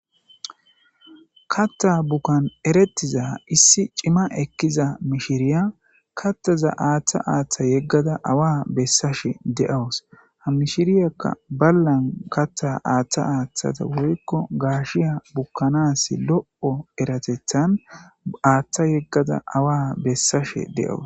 Katta bukkan eretiza issi cima ekkiza mishiriya kattaza aaththa aaththa yeggada awa bessashe deawus ha mishiriyakka ballan katta aaththa aaththata woykko gaashiya bukkanas lo7o eratethan aaththa yeggada awa bessashe de'awus.